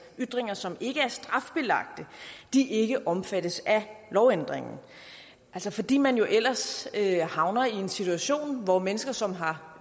ytringer som ikke er strafbelagte ikke omfattes af lovændringen altså fordi man jo ellers havner i en situation hvor mennesker som har